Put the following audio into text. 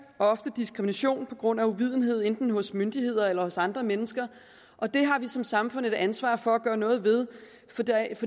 også diskrimination på grund af uvidenhed enten hos myndigheder eller hos andre mennesker og det har vi som samfund et ansvar for at gøre noget ved